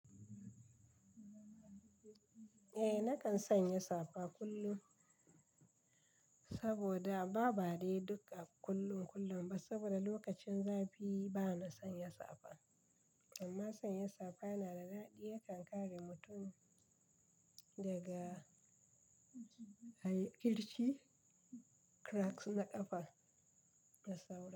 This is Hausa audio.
Eh, na kan sanya safa kullum saboda ba bare duk a kullum kullum ba saboda lokacin zafi bana sanya safa amma sanya safa yana da daɗi ya kan kare mutum daga kirchi cracks na ƙafa da saura.